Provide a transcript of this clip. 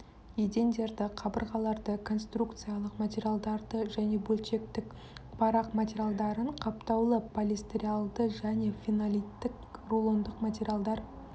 едендерді қабырғаларды конструкциялық материалдарды және бөлшектік парақ материалдарын қаптаулы полистриальді және фенолиттік рулондық материалдар